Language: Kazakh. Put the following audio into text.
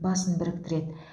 басын біріктіреді